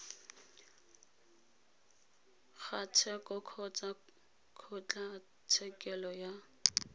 ga tsheko kgotsa kgotlatshekelo ya